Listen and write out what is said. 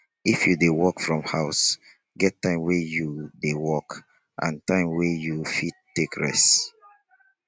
if you dey work from house get time wey you dey work and time wey you fit take rest